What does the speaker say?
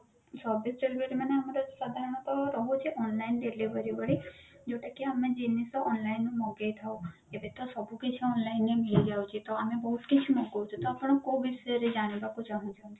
service delivery ମାନେ ତ ଆମର ସାଧାରଣତ ରହୁଛି online delivery ଭଳି ଯୋଉଟା କି ଆମେ ଜିନିଷ online ମଗେଇଥାଉ ଏବେ ତ ସବୁ କିଛି online ରେ ମିଳିଯାଉଛି ତ ଆମେ ବହୂତ କିଛି ମଗୋଉଛୁ ତ ଆପଣ କୋଉ ବିଷୟରେ ଜାଣିବାକୁ ଚାହୁଞ୍ଚନ୍ତି